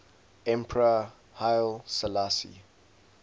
emperor haile selassie